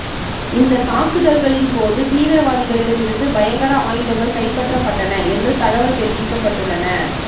இந்த தாக்குதல்களின்போது தீவிரவாதிகளிடம் இருந்து பயங்கர ஆயுதங்கள் கைப்பற்றப்பட்டன என்று தகவல் தெரிவிக்கப்பட்டுள்ளன